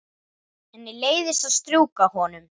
Henni leiðist að strjúka honum.